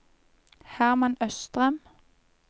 Hermann Østrem